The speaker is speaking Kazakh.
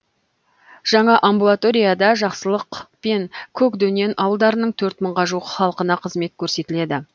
жаңа амбулаторияда жақсылық пен көкдөнен ауылдарының төрт мыңға жуық халқына қызмет көрсетіледі